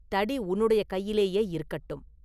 தடி உன்னுடைய கையிலேயே இருக்கட்டும்.